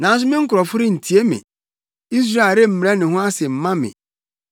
“Nanso me nkurɔfo rentie me; Israel remmrɛ ne ho ase mma me.